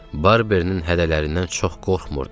Barbernin hədələrindən çox qorxmurdum.